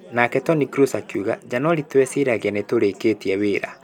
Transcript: Nake Toni Kroos agĩũka Janũarĩ twegĩciragia nĩ tũrĩkĩtie wĩra.